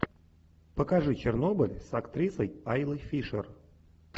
покажи чернобыль с актрисой айлой фишер